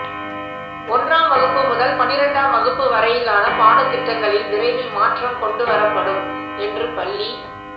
ஒன்றாம் வகுப்பு முதல் பனிரெண்டாம் வகுப்பு வரையிலான பாடத்திட்டங்களில் விரைவில் மாற்றம் கொண்டுவரப்படும் என்று பள்ளி